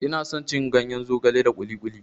Ina son cin ganyen zogale da kuli kuli.